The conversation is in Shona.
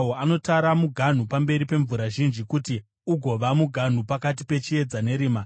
Anotara muganhu pamberi pemvura zhinji, kuti ugova muganhu pakati pechiedza nerima.